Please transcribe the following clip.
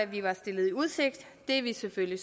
vi var stillet i udsigt det er vi selvfølgelig